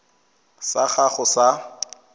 sa gago sa irp it